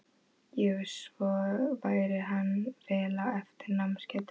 Jú, og svo væri hann vel á eftir í námsgetu.